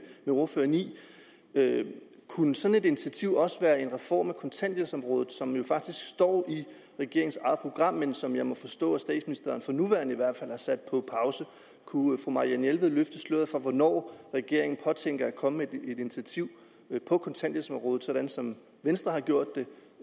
ordføreren i kunne sådan et initiativ også være en reform af kontanthjælpsområdet som jo faktisk står i regeringens eget program men som jeg må forstå at statsministeren for nuværende har sat på pause kunne fru marianne jelved løfte sløret for hvornår regeringen påtænker at komme med et initiativ på kontanthjælpsområdet sådan som venstre har gjort